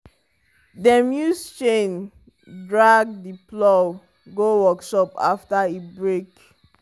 dem use chain drag the plow go workshop after e break.